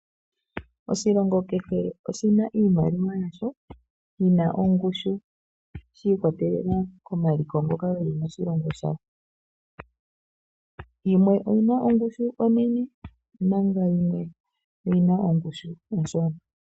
Oshilongo kehe oshina iimaliwa yasho, yina ongushu shi ikwatelela komaliko ngoka geli moshilongo shayo. Yimwe oyina ongushu onene, yimwe oyina ongushu onshona.